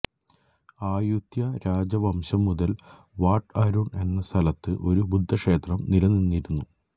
Ayutthaya രാജവംശം മുതൽ Wat Arun എന്ന സ്ഥലത്ത് ഒരു ബുദ്ധക്ഷേത്രം നിലനിന്നിരുന്നു